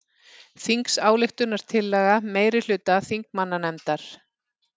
Þingsályktunartillaga meirihluta þingmannanefndar